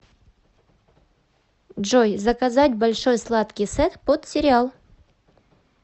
джой заказать большой сладкий сет под сериал